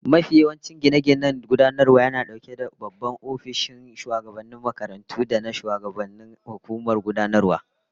Most administrative buildings house the principal officers and governing council offices